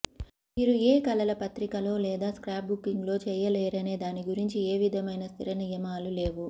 మీరు ఏ కళల పత్రికలో లేదా స్క్రాప్బుకింగ్లో చేయలేరనే దాని గురించి ఏ విధమైన స్థిర నియమాలు లేవు